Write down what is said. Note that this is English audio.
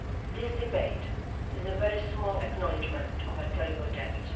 This debate is a very small acknowledgement of a terrible debt.